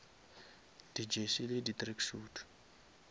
di jersey le di tracksuit